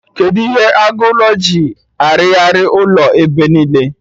Kedụ ihe agụ ụlọ ji arighari ụlọ ebe niile?